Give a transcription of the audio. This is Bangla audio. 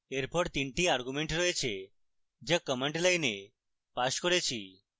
এরপর তিনটি arguments রয়েছে যা command line পাস করেছি